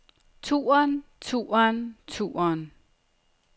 turen turen turen